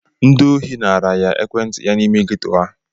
Ndị ori naara ya ekwentị ya n'ime Ghetto ha.